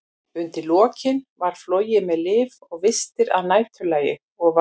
Undir lokin var flogið með lyf og vistir að næturlagi, og var